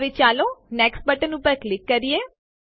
હવે ચાલો next button ઉપર ક્લિક કરીએ